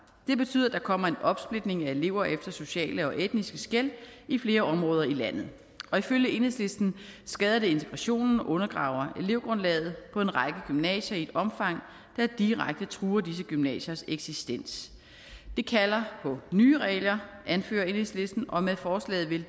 det betyder at der kommer en opsplitning af elever efter sociale og etniske skel i flere områder i landet og ifølge enhedslisten skader det integrationen og undergraver elevgrundlaget på en række gymnasier i et omfang der direkte truer disse gymnasiers eksistens det kalder på nye regler anfører enhedslisten og med forslaget vil